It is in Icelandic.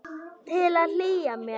Til að hlýja mér.